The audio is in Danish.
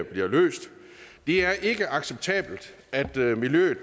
bliver løst det er ikke acceptabelt at miljøet